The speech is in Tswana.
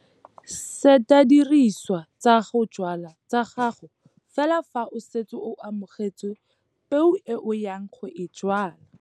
Seta dirisiwa tsa go jwala tsa gago fela fa o setse o amogetse peo e o yang go e jwala.